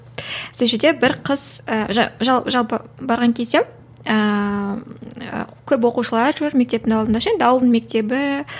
сол жерде бір қыз ы жалпы барған кезде ііі көп оқушылар жүр мектептің алдында ше енді ауылдың мектебі